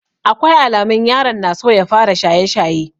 Akwai alamun yaron na so ya fara shaye-shaye.